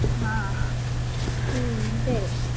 हा हम्म तेच